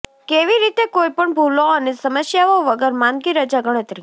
કેવી રીતે કોઈપણ ભૂલો અને સમસ્યાઓ વગર માંદગી રજા ગણતરી